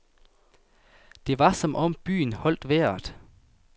Det var som om byen holdt vejret.